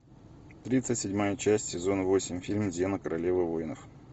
тридцать седьмая часть сезон восемь фильм зена королева воинов